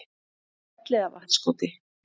Elliðavatnskoti